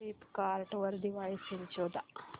Flipkart वर Diwali sale शोधा